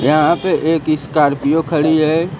यहां पे एक स्कॉर्पियो खड़ी है।